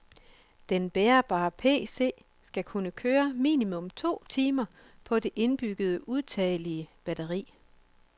Den bærbare PC skal kunne køre minimum to timer på det indbyggede udtagelige batteri.